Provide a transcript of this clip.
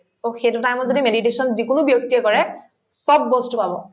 so, সেইটো time ত যদি meditation যিকোনো ব্যক্তিয়ে কৰে চব বস্তু পাব